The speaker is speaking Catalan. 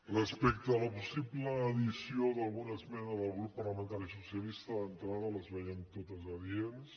respecte a la possible addició d’alguna esmena del grup parlamentari socialista d’entrada les veiem to·tes adients